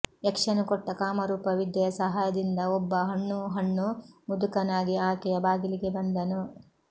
ಯಕ್ಷನು ಕೊಟ್ಟ ಕಾಮರೂಪ ವಿದ್ಯೆಯ ಸಹಾಯದಿಂದ ಒಬ್ಬ ಹಣ್ಣು ಹಣ್ಣು ಮುದುಕನಾಗಿ ಆಕೆಯ ಬಾಗಿಲಿಗೆ ಬಂದನು